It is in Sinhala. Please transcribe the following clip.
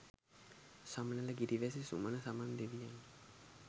සමනල ගිරිවැසි සුමන සමන් දෙවියන් ය.